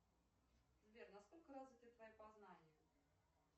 сбер насколько развиты твои познания